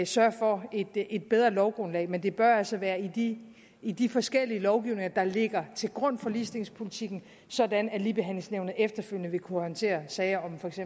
sørge for et bedre lovgrundlag men det bør altså være i i de forskellige lovgivninger der ligger til grund for ligestillingspolitikken sådan at ligebehandlingsnævnet efterfølgende vil kunne håndtere sager